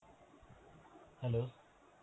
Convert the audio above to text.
hello.